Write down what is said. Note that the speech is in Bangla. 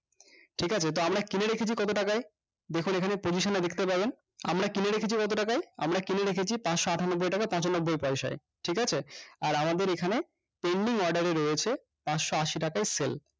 ঠিকাছে তো আমরা কিনে রেখেছি কত টাকায় দেখুন এখানে position এ দেখতে পাবেন আমরা কিনে রেখেছি কত টাকায় আমরা কিনে রেখেছি পাঁচশ আটানব্বই টাকা পঁচানব্বই পয়সায় ঠিকাছে আর আমাদের এখানে pending order এ রয়েছে পাঁচশ আশি টাকায় sell